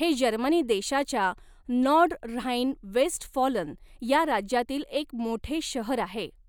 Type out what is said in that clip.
हे जर्मनी देशाच्या Nordrhein Westfalen या राज्यातील एक मोठे शहर आहे.